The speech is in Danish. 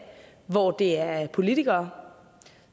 hvor det er politikere